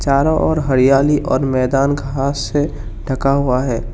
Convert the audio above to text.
चारों ओर हरियाली और मैदान घास से ढका हुआ है।